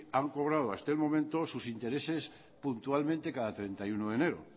han cobrado hasta el momento sus intereses puntualmente cada treinta y uno de enero